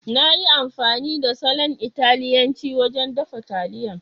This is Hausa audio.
Na yi amfani da salon Italiyanci wajen dafa taliyan.